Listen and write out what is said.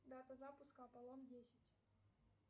дата запуска аполлон десять